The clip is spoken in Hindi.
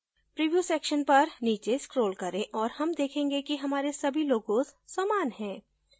प्रिव्यू सेक्सन पर नीचे scroll करें और हम देखेंगे कि हमारे सभी logos समान हैं